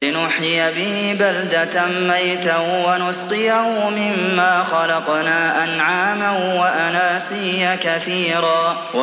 لِّنُحْيِيَ بِهِ بَلْدَةً مَّيْتًا وَنُسْقِيَهُ مِمَّا خَلَقْنَا أَنْعَامًا وَأَنَاسِيَّ كَثِيرًا